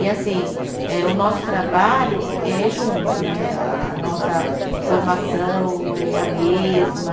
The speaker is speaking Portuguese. E assim, eh o nosso trabalho é junto né, a a nossa formação é a mesma.